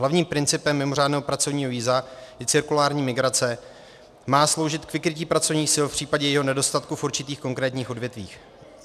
Hlavním principem mimořádného pracovního víza je cirkulární migrace, má sloužit k vykrytí pracovních sil v případě jejich nedostatku v určitých konkrétních odvětvích.